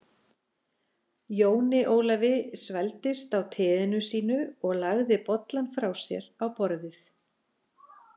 Jóni Ólafi svelgdist á teinu sínu og lagði bollann frá sér á borðið.